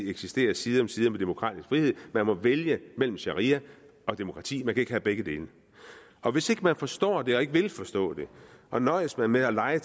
eksistere side om side med demokratisk frihed man må vælge mellem sharia og demokrati man kan ikke have begge dele og hvis ikke man forstår det og ikke vil forstå det og nøjes med med at lege